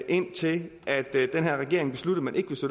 indtil den her regering besluttede